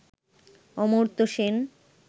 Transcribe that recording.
Amartya Sen,